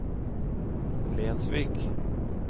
Lensvik